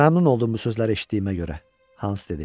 Məmnun oldum bu sözləri eşitdiyimə görə, Hans dedi.